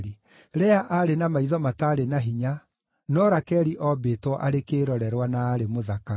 Lea aarĩ na maitho mataarĩ na hinya, no Rakeli oombĩtwo arĩ kĩĩrorerwa na aarĩ mũthaka.